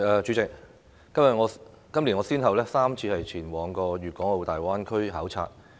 主席，我今年先後3次前往粵港澳大灣區考察。